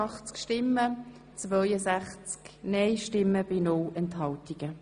Somit kommen wir zum Eventualiter.